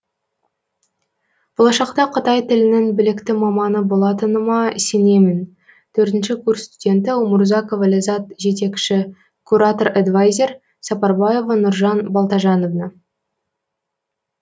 болашақта қытай тілінің білікті маманы болатыныма сенемін төртінші курс студенті умурзакова ләззат жетекші куратор эдвайзер сапарбаева нуржан балтажановна